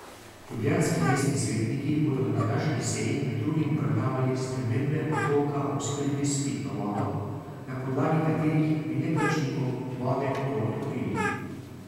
Ljubljanski mestni svetniki bodo na današnji seji med drugim obravnavali spremembe odloka o oskrbi s pitno vodo, na podlagi katerih bi neplačnikom vode to odklopili.